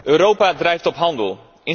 Europa drijft op handel.